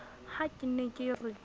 ha ke ne ke re